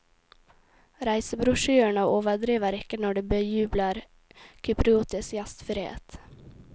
Reisebrosjyrene overdriver ikke når de bejubler kypriotisk gjestfrihet.